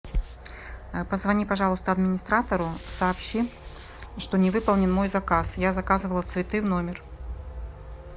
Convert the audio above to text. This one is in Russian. позвони пожалуйста администратору сообщи что не выполнен мой заказ я заказывала цветы в номер